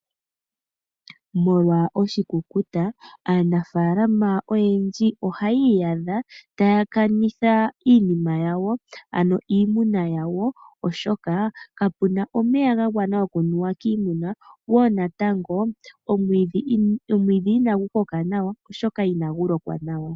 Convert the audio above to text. Molwa oshikukuta aanafaalama oyendji ohaya iyadha taya kanitha iimuna yawo oshoka kapu na omeya gagwana okunuwa kiimuna go omwiidhi inagu koka nawa okuliwa kiimuna.